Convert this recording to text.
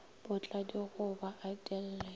potla digoba e di lle